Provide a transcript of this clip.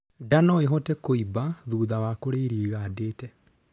Ndaa norihote kuimba thutha wa kurĩa irio igandite